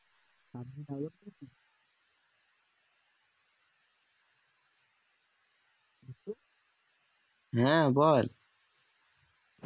হ্যাঁ বল